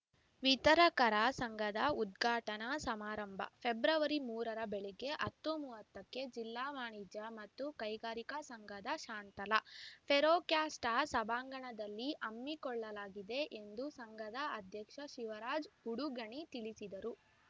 ವಿತರಕರ ಸಂಘದ ಉದ್ಘಾಟನಾ ಸಮಾರಂಭ ಫೆಬ್ರವರಿ ಮೂರರ ಬೆಳಗ್ಗೆಹತ್ತುಮುವತ್ತಕ್ಕೆ ಜಿಲ್ಲಾ ವಾಣಿಜ್ಯ ಮತ್ತು ಕೈಗಾರಿಕಾ ಸಂಘದ ಶಾಂತಲಾ ಫೆರೋಕ್ಯಾಸ್ಟ ಸಭಾಂಗಣದಲ್ಲಿ ಹಮ್ಮಿಕೊಳ್ಳಲಾಗಿದೆ ಎಂದು ಸಂಘದ ಅಧ್ಯಕ್ಷ ಶಿವರಾಜ್‌ ಉಡುಗಣಿ ತಿಳಿಸಿದರು